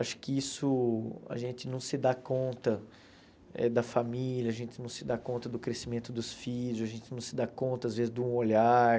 Acho que isso, a gente não se dá conta eh da família, a gente não se dá conta do crescimento dos filhos, a gente não se dá conta, às vezes, de um olhar.